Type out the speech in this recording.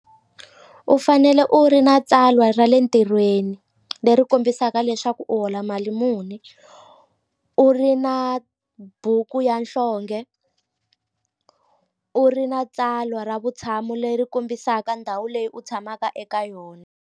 U fanele u ri na tsalwa ra le ntirhweni leri kombisaka leswaku u hola mali muni u ri na buku ya nhlonge u ri na tsalwa ra vutshamo leri kombisaka ndhawu leyi u tshamaka eka yona.